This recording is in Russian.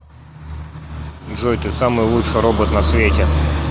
джой ты самый лучший робот на свете